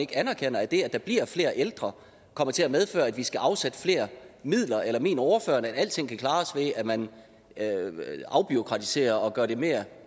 anerkender at det at der bliver flere ældre kommer til at medføre at vi skal afsætte flere midler eller mener ordføreren at alting kan klares ved at man afbureaukratiserer og gør det mere